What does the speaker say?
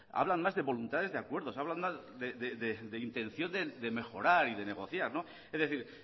hablan más de voluntades de acuerdos hablan más de intención de mejorar y de negociar es decir